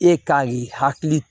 E ka k'i hakili